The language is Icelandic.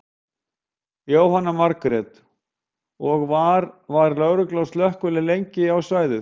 Jóhanna Margrét: Og var, var lögregla og slökkvilið lengi á svæðið?